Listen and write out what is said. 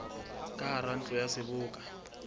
ka hara ntlo ya seboka